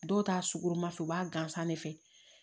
Dɔw ta sukoromafɛ u b'a gansan de fɛ